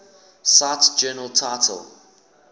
cite journal title